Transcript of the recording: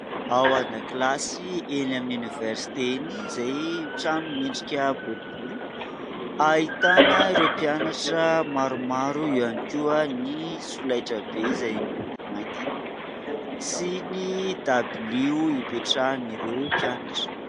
Ao an-dakilasy eny amin'ny oniversite eny izay trano miendrika boribory ahitana ireo mpianatra maromaro, eo ihany koa ny solaitra be izay miloko mainty sy ny dabilio ipetrahan'ireo mpianatra.